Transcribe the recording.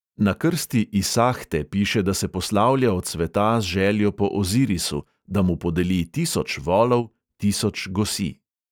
Na krsti isahte piše, da se poslavlja od sveta z željo po ozirisu, da mu podeli tisoč volov, tisoč gosi …